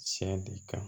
Tiɲɛ de kan